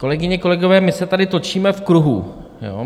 Kolegyně, kolegové, my se tady točíme v kruhu.